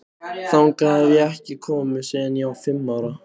Þangað hef ég ekki komið síðan ég var fimm ára.